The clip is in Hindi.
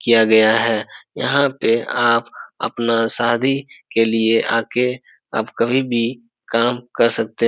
किया गया है यहाँ पे आप अपना शादी के लिए आके आप कभी भी काम कर सकते --